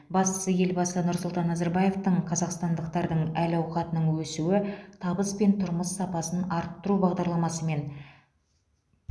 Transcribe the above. бастысы елбасы нұрсұлтан назарбаевтың қазақстандықтардың әл ауқатының өсуі табыс пен тұрмыс сапасын арттыру бағдарламасымен